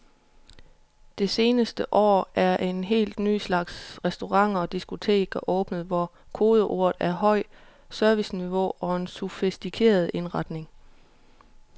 Det seneste år er en helt ny slags restauranter og diskoteker åbnet, hvor kodeordene er højt serviceniveau og en sofistikeret indretning.